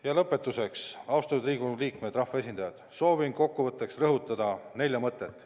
Ja lõpetuseks, austatud Riigikogu liikmed, rahvaesindajad, soovin rõhutada nelja mõtet.